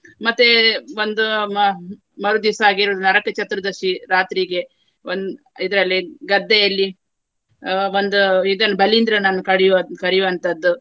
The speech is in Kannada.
ಮತ್ತೆ ಒಂದು ಮ~ ಮರುದಿವಸ ಹಾಗೆ ನರಕ ಚತುರ್ದರ್ಶಿ ರಾತ್ರಿಗೆ. ಒಂದ್~ ಇದ್ರಲ್ಲಿ ಗದ್ದೆಯಲ್ಲಿ ಆ ಒಂದು ಇದನ್ನು ಬಲೀಂದ್ರನನ್ನು ಕಡಿಯುವ~ ಕರಿಯುವಂತದ್ದು.